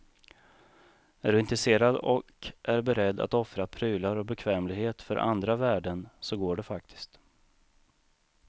Är du intresserad och är beredd att offra prylar och bekvämlighet för andra värden, så går det faktiskt.